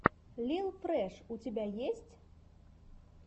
лил фрэш у тебя есть